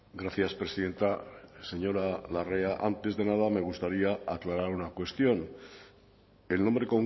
gracias presidenta señora larrea antes de nada me gustaría aclarar una cuestión el nombre